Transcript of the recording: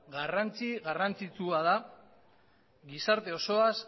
garrantzitsua da gizarte